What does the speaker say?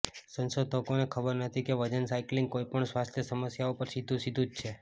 સંશોધકોને ખબર નથી કે વજન સાયકલિંગ કોઈ પણ સ્વાસ્થ્ય સમસ્યાઓ પર સીધું સીધું જ છે